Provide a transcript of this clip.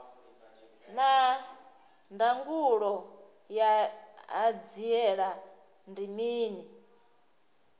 naa ndangulo ya hanziela ndi mini